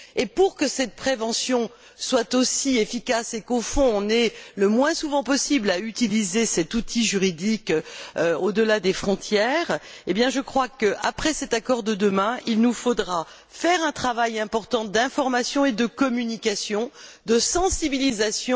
Pour que cette prévention soit aussi efficace et qu'au fond, on ait le moins souvent possible à utiliser cet outil juridique au delà des frontières, après cet accord de demain, il nous faudra faire un important travail d'information, de communication et de sensibilisation.